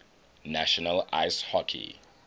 national ice hockey